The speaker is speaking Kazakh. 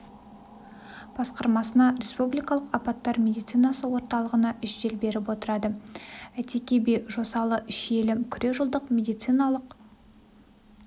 басқармасына республикалық апаттар медицинасы орталығына жедел беріп отырады әйтеке би жосалы шиелі күре жолдық медициналық